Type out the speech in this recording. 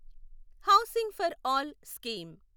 housing for all scheme